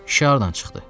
Kişi hardan çıxdı?